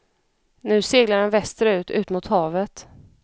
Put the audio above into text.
Nu seglar den västerut, ut mot havet.